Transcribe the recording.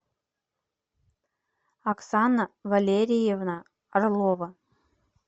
оксана валерьевна орлова